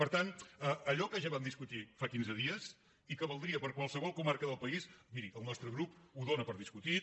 per tant allò que ja vam discutir fa quinze dies i que valdria per a qualsevol comarca del país miri el nostre grup ho dona per discutit